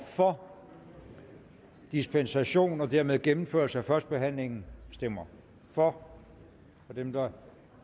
for dispensation og dermed gennemførelse af førstebehandlingen stemmer for og dem der